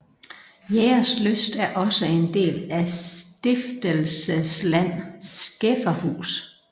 Jægerslyst er også en del af Stiftelsesland Skæferhus